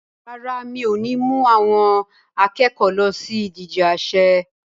Rárá, mi ò ní mú àwọn akẹ́kọ̀ọ́ lọ sí ìdije àsè.